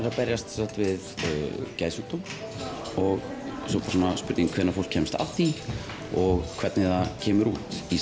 að berjast við geðsjúkdóm svo er spurning hvenær fólk kemst að því og hvernig það kemur út í